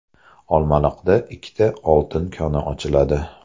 Olmaliqda ikkita oltin koni ochiladi .